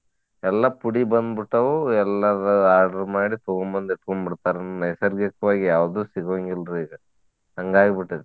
ಎಲ್ಲಾ ಪುಡಿ ಬಂದ ಬಿಟ್ಟಾವು ಎಲ್ಲಾದ order ಮಾಡಿ ತಗೊಂಬಂದ ಇಟ್ಕೊಂಡ್ ಬಿಡ್ತಾರು. ನೈಸರ್ಗಿಕವಾಗಿ ಯಾವ್ದು ಸಿಗೊಂಗಿಲ್ರೀ ಈಗ. ಹಂಗ ಆಗ್ಬಿಟ್ಟೆತ್ರಿ.